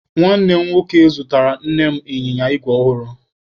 Nwanne m nwoke zụtara Nne m ịnyịnya igwe ọhụrụ.